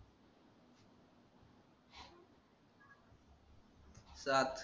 सात